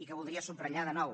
i que voldria subratllar de nou